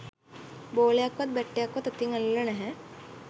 බෝලයක්වත් bat එකක්වත් අතින් අල්ලලා නැහැ.